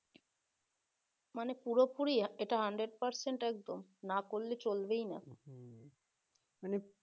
মানে পুরোপুরি এতটা hundred percent একদম না পড়লে চলবেই না